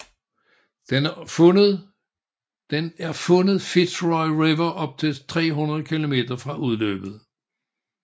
Den er fundet Fitzroy River op til 300 km fra udløbet